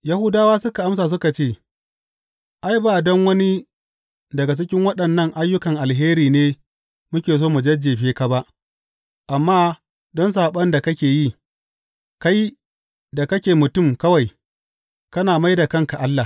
Yahudawa suka amsa suka ce, Ai, ba don wani daga cikin waɗannan ayyukan alheri ne muke so mu jajjefe ka ba, amma don saɓon da kake yi, kai da kake mutum kawai, kana mai da kanka Allah.